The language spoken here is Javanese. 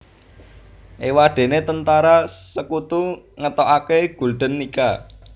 Éwadéné Tentara Sekutu ngetokaké Gulden Nica